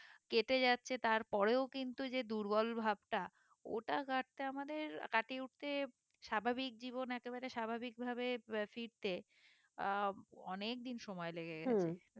কেটে যাচ্ছে তার পরেও কিন্তু যে দুর্বল ভাবটা ওটা কাটতে আমাদের কাটিয়ে উঠতে স্বাভাবিক জীবন একেবারে স্বাভাবিক ভাবে আহ ফিরতে আহ অনেকদিন সময় লেগে যাচ্ছে